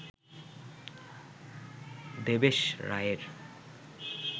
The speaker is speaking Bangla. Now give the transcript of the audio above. দেবেশ রায়ের